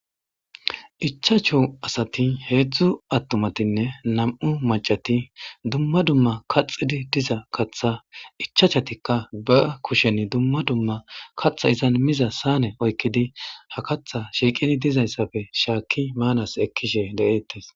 Ichavhchu asati hezhzhu attumane nam'u macati duma duma kaxidi diza katha ichachchatika be kushen duma duma katha izan miza sayne oykidi ha katha shiqidi dizaysappe shakidi manan ekishe de'etes